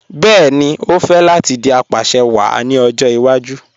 Bẹẹni, o fẹ́ láti dì apàṣẹwàá ní ọjọ́ ìwàjú